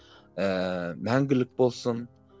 ііі мәңгілік болсын